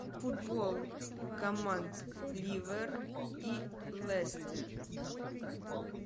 футбол команд ливер и лестер